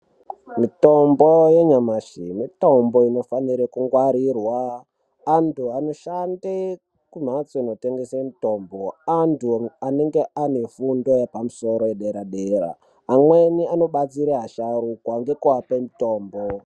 Mitombo yenyamashi mitombo inofanire kungwarirwa. Antu anoshande kumhatso inotengese mitombo antu anenge ane fundo yepamusoro yedera dera. Amweni anobatsire asharukwa ngekuape mitombo.